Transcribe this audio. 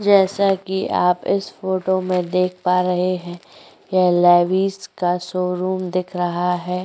जैसा कि आप इस फोटो में देख पा रहे हैं यह लेविस का शोरूम दिख रहा है।